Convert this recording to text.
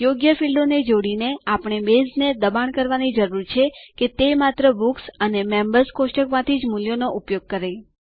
યોગ્ય ફીલ્ડોને જોડીને આપણે બેઝ ને દબાણ કરવાની જરૂર છે કે તે માત્ર બુક્સ અને મેમ્બર્સ કોષ્ટક માંથી જ મૂલ્યો જો ઉપયોગ કરે